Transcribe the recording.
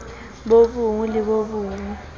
bo bong le bo bong